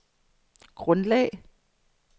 grundlag